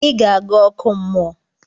I ga aga oku mmuo!